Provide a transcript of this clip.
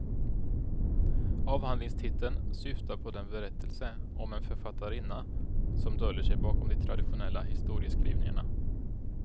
Avhandlingstiteln syftar på den berättelse om en författarinna som döljer sig bakom de traditionella historieskrivningarna.